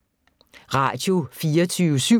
Radio24syv